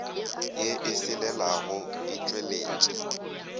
ye e selelago e tšweletše